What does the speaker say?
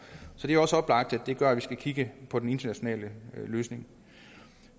så det er også oplagt at det gør at vi skal kigge på den internationale løsning